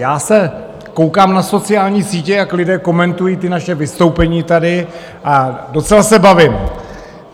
Já se koukám na sociální sítě, jak lidé komentují ta naše vystoupení tady, a docela se bavím.